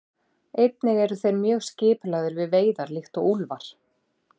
Einnig eru þeir mjög skipulagðir við veiðar líkt og úlfar.